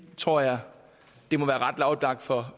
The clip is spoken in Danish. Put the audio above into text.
tror jeg det må være ret oplagt for